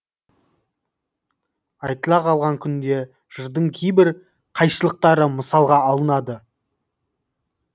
айтыла қалған күнде жырдың кейбір қайшылықтары мысалға алынады